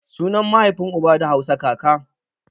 Sunan maihafin uba da Hausa kaka